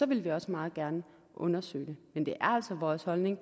ville vi også meget gerne undersøge det men det er altså vores holdning